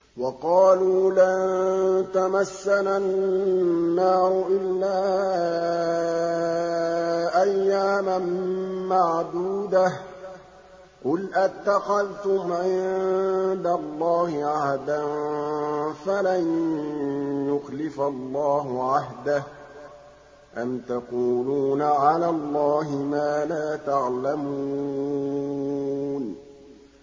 وَقَالُوا لَن تَمَسَّنَا النَّارُ إِلَّا أَيَّامًا مَّعْدُودَةً ۚ قُلْ أَتَّخَذْتُمْ عِندَ اللَّهِ عَهْدًا فَلَن يُخْلِفَ اللَّهُ عَهْدَهُ ۖ أَمْ تَقُولُونَ عَلَى اللَّهِ مَا لَا تَعْلَمُونَ